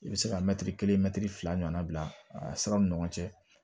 I bɛ se ka mɛtiri kelen mɛtiri fila ɲɔgɔnna bila a siraw ni ɲɔgɔn cɛ